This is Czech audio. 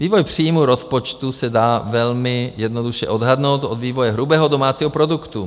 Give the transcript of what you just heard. Vývoj příjmů rozpočtu se dá velmi jednoduše odhadnout od vývoje hrubého domácího produktu.